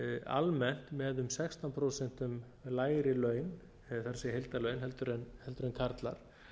almennt með um sextán prósent lægri laun það er heildarlaun en karlar